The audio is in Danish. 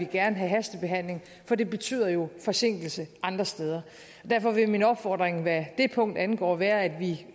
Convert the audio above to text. gerne have hastebehandling for det betyder jo forsinkelse andre steder derfor vil min opfordring hvad det punkt angår være at vi